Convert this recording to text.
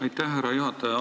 Aitäh, härra juhataja!